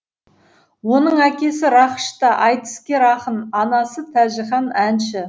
оның әкесі рақыш та айтыскер ақын анасы тәжіхан әнші